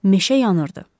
Meşə yanırdı.